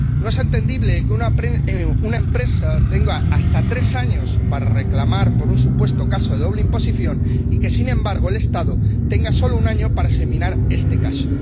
No es entendible que una empresa tenga hasta tres años para reclamar por un supuesto caso de doble imposición y que, sin embargo, el Estado tenga solo un año para examinar este caso.